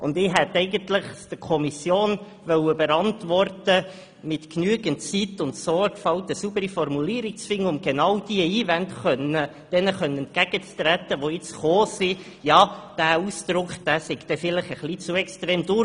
Eigentlich möchte ich es der Kommission überantworten, mit genügend Zeit und Sorgfalt eine saubere Formulierung zu finden, um genau den eben gebrachten Einwänden entgegenzutreten, wonach dieser Ausdruck vielleicht ein wenig zu extrem sei.